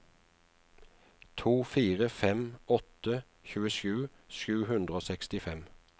to fire fem åtte tjuesju sju hundre og sekstifem